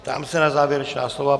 Ptám se na závěrečná slova.